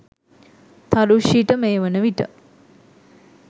තරුෂි ට මේ වනවිට